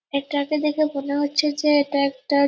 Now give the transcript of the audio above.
এটাকে দেখে মনে হচ্ছে যে এটা একটা--